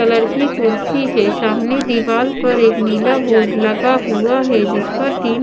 colour की कुर्सी है सामने दीवार पर एक नीला बोर्ड लगा हुआ है जिस पर तीन--